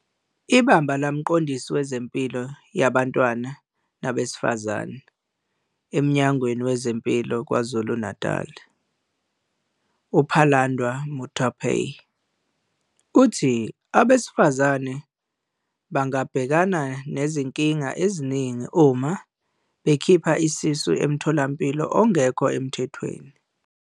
IBamba likaMqondisi Wezempilo Yomntwana Nabesifazane eMnyangweni Wezempilo KwaZulu-Natali, uPhalanndwa Muthuphei, uthi abesifazane bangabhekana nezinkinga eziningi uma bekhipha isisu emtholampilo ongekho emthethweni.